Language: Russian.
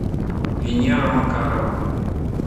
венера макарова